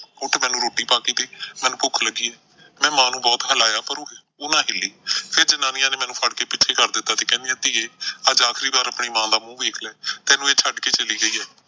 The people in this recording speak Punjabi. ਉੱਠ ਮੈਨੂੰ ਰੋਟੀ ਪਾ ਕੇ ਦੇ, ਮੈਨੂੰ ਭੁੱਖ ਲੱਗੀ ਐ। ਮੈਂ ਮਾਂ ਨੂੰ ਬਹੁਤ ਹਿਲਾਇਆ ਪਰ ਉਹ ਨਾ ਹਿੱਲੀ। ਫਿਰ ਜਨਾਨੀਆਂ ਨੇ ਮੈਨੂੰ ਫ਼ੜ ਕੇ ਪਿੱਛੇ ਕਰ ਦਿੱਤਾ ਤੇ ਕਹਿੰਦੀਆਂ ਧੀਏ ਅੱਜ ਆਖ਼ਰੀ ਵਾਰ ਆਪਣੀ ਮਾਂ ਦਾ ਮੂੰਹ ਵੇਖ ਲੈ, ਤੈਨੂੰ ਇਹ ਛੱਡ ਕੇ ਚਲੀ ਗਈ ਐ।